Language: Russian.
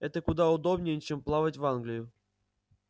это куда удобнее чем плавать в англию